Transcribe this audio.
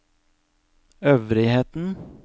øvrigheten